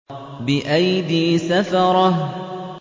بِأَيْدِي سَفَرَةٍ